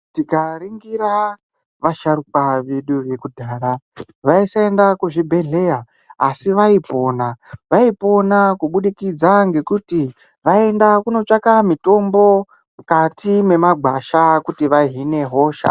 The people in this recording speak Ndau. Tikaringira vasharuka vedu vekudhara vaisaenda kuzvibhedhleya asi vaipona. Vaipona kubudikidza ngekuti vaienda kunotsvaka mutombo mukati mwemagwasha kuti vahine hosha.